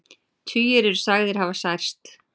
Tugir eru sagðir hafa særst